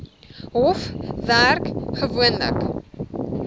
hof werk gewoonlik